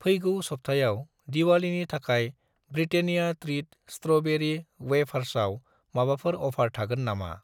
फैगौ सबथायाव दिवालीनि थाखाय ब्रिटेनिया त्रिट स्ट्र'बेरि वेफार्सआव माबाफोर अफार थागोन नामा?